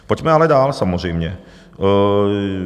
Pojďme ale dál samozřejmě.